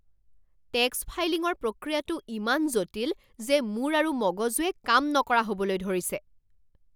Tax ফাইলিঙৰ প্ৰক্ৰিয়াটো ইমান জটিল যে মোৰ আৰু মগজুৱে কাম নকৰা হ'বলৈ ধৰিছে!